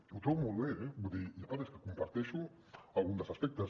que ho trobo molt bé eh i a part és que comparteixo algun dels aspectes